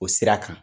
O sira kan